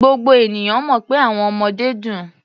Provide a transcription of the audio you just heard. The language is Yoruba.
Gbogbo ènìyàn mọ̀ pé àwọn ọmọdé dùn.